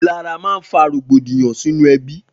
Ilàrá mà n fà rógbódiyàn sinú èbí